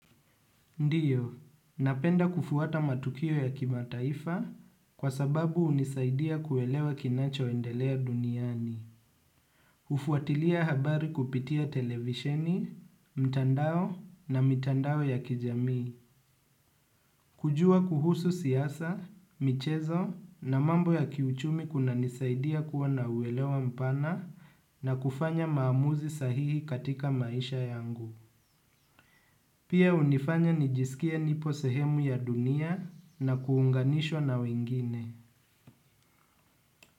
Ndiyo, napenda kufuata matukio ya kimataifa kwa sababu unisaidia kuelewa kinacho endelea duniani. Hufuatilia habari kupitia televisheni, mtandao na mitandao ya kijami. Kujua kuhusu siyasa, michezo na mambo ya kiuchumi kunanisaidia kuwa na uwelewa mpana na kufanya maamuzi sahihi katika maisha yangu. Pia unifanya nijisikie nipo sehemu ya dunia na kuunganishwa na wengine.